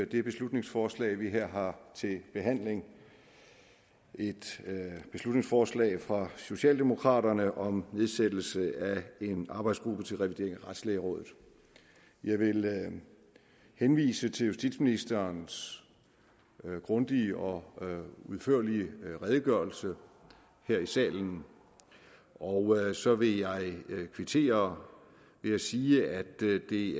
det beslutningsforslag vi her har til behandling et beslutningsforslag fra socialdemokraterne om nedsættelse af en arbejdsgruppe til revidering af retslægerådet jeg vil henvise til justitsministerens grundige og udførlige redegørelse her i salen og så vil jeg kvittere ved at sige at det i